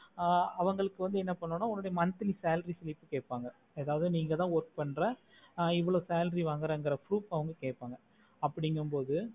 ஆஹ் அவங்களுக்கு வந்து என்ன பண்ணுனோம்னா உன்னோட monthly salary slip கேப்பாங்க அதாவது நீ இங்கதா பண்றே இவோலோ salary வாங்குற அப்புடின்னு proof அவங்க கேப்பாங்க அப்புடிகமொடு